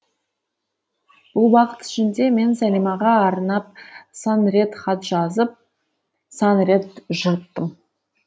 бұл уақыт ішінде мен сәлимаға арнап сан рет хат жазып сан рет жырттым